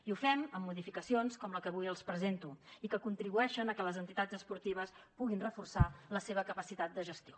i ho fem amb modificacions com la que avui els presento i que contribueixen a que les entitats esportives puguin reforçar la seva capacitat de gestió